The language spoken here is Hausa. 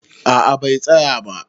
A'a, bai tsaya ba.